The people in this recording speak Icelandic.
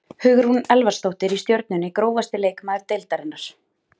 Hugrún Elvarsdóttir í Stjörnunni Grófasti leikmaður deildarinnar?